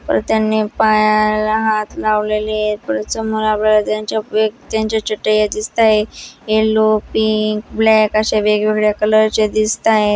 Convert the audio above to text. त्यांनी पाय हात लावलेल्या आहेत त्यांच्या चटया दिसतायत यल्लो पिंक ब्लॅक अशा वेगवेगळ्या कलर च्या दिसताये.